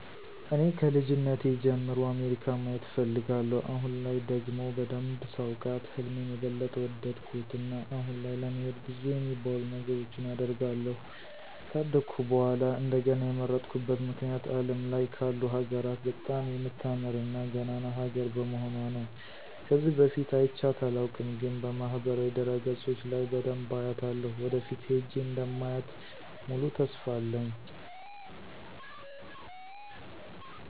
እኔ ከልጅነቴ ጀምሮ አሜሪካን ማየት እፈልጋለሁ። አሁን ላይ ደግሞ በደንብ ሳውቃት ህልሜን የበለጠ ወደድኩት። እና አሁን ላይ ለመሄድ ብዙ የሚባሉ ነገሮችን አደርጋለሁ። ከአደኩ በኃላ እንደገና የመረጥኩበት ምክንያት አለም ላይ ካሉ ሀገራት በጣም የምታምር እና ገናና ሀገር በመሆኑአ ነው። ከዚህ በፊት አይቻት አላውቅም፤ ግን በማህበራዊ ድረገጾች ለይ በደንብ አያታለሁ። ወደፊት ሄጄ እንደማያ ሙሉ ተስፋ አለኝ።